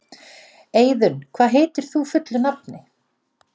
Eiðunn, hvað heitir þú fullu nafni?